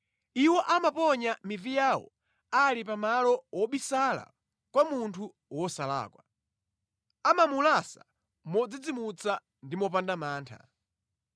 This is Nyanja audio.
Iwo amaponya mivi yawo ali pa malo wobisala kwa munthu wosalakwa; amamulasa modzidzimutsa ndi mopanda mantha.